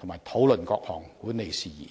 並討論各項管理事宜。